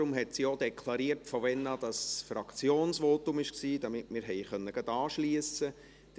Deshalb hat sie auch deklariert, ab wann es ein Fraktionsvotum war, damit wir gleich anschliessen konnten.